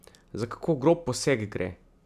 Za kako grob poseg gre?